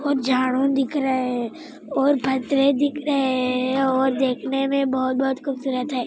और झाड़ो दिख रहे हे और दिख रहे और देखने में बहोत बहोत खुबसुरत हे |